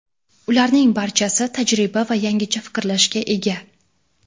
Ularning barchasi tajriba va yangicha fikrlashga ega.